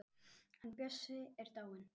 Hann Bjössi er dáinn.